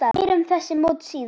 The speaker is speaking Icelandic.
Meira um þessi mót síðar.